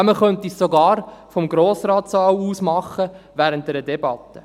Ja, man könnte es sogar während einer Debatte vom Saal des Grossen Rates aus tun.